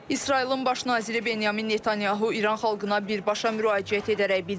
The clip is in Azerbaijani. İsrailin baş naziri Benyamin Netanyahu İran xalqına birbaşa müraciət edərək bildirib ki,